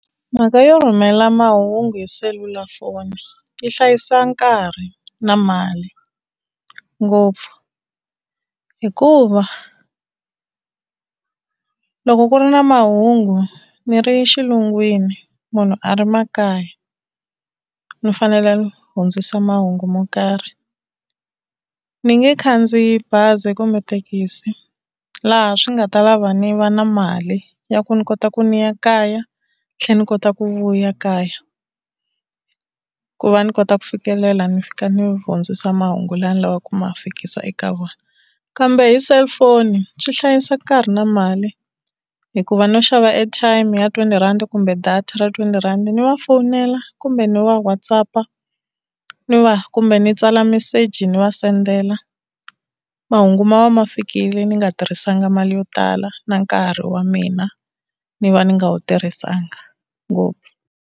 Mhaka yo rhumela mahungu hi selulafoni yi hlayisa nkarhi na mali ngopfu, hikuva loko ku ri na mahungu ni ri xilungwini munhu a ri makaya ni fanele ni hundzisa mahungu mo karhi ni nge khandziyi bazi kumbe thekisi, laha swi nga ta lava ni va na mali ya ku ni kota ku ni ya kaya tlhe ni kota ku vuya kaya, ku va ni kota ku fikelela ni fika ni hundzisa mahungu lama ni lavaku ku ma fikisa eka vona. Kambe hi cellphone swi hlayisa nkarhi na mali hikuva no xava airtime ya twenty rand kumbe data ra twenty rand ni va fonela kumbe ni va WhatsApp ni va kumbe ni tsala meseji ni va sendela. Mahungu ma va ma fikile ni nga tirhisanga mali yo tala na nkarhi wa mina ni va ni nga wu tirhisanga ngopfu.